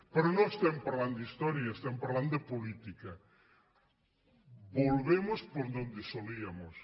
però no estem parlant d’història estem parlant de política volvemos por donde solíamos